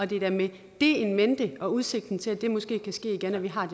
det er da med det in mente og udsigten til at det måske kan ske igen at vi har